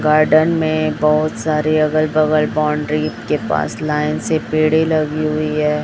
Garden में बहुत सारे अगल बगल बाउंड्री के पास लाइन से पेड़े लगी हुई है।